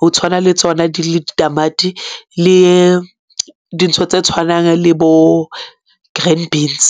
ho tshwana le tsona ditamati le dintho tse tshwanang le bo-green beans.